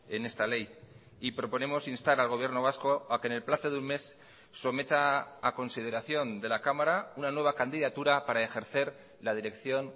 en esta ley y proponemos instar al gobierno vasco a que en el plazo de un mes someta a consideración de la cámara una nueva candidatura para ejercer la dirección